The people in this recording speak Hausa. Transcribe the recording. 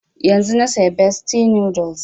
Yanzun na saya bestie noodles